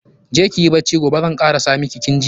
Je kiyi bacci, gobe zan kara sa iki, kin ji.